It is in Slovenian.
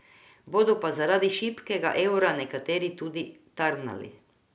Bodo pa zaradi šibkega evra nekateri tudi tarnali.